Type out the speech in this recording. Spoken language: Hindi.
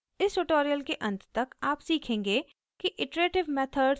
इस ट्यूटोरियल के अंत तक आप सीखेंगे कि: